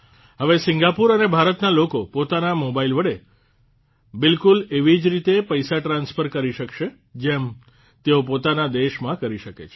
હવે સિંગાપુર અને ભારતનાં લોકો પોતાનાં મોબાઇલ વડે બિલકુલ એવી જ રીતે પૈસા ટ્રાન્સફર કરી શકસે જેમ તેઓ પોતાનાં દેશમાં કરી શકે છે